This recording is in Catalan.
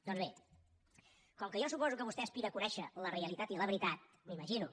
doncs bé com que jo suposo que vostè aspira a conèixer la realitat i la veritat m’ho imagino